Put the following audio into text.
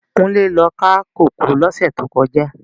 Kunle lò ká kókòó lòsè tókòjá